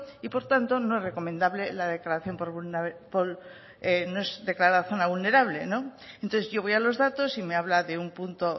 y por tanto no es recomendable la declaración no es declarada zona vulnerable no entonces yo voy a los datos y me habla de un punto